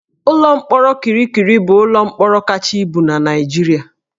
Ụlọ mkpọrọ Kirikiri bụ ụlọ mkpọrọ kacha ibu na Naịjirịa